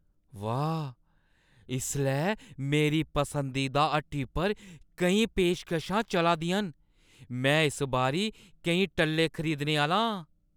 वाह् ! इसलै मेरी पसंदीदा हट्टी पर केईं पेशकशां चला दियां न। में इस बारी केईं टल्ले खरीदने आह्‌ला आं।